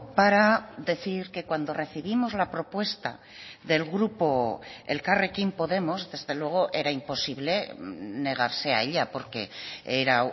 para decir que cuando recibimos la propuesta del grupo elkarrekin podemos desde luego era imposible negarse a ella porque era